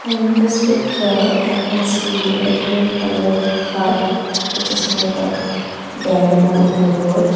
in this picture i can see a green coloured hut which is made up bamboo and wood.